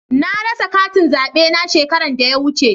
Na rasa katin zaɓe na shekaran da ya wuce.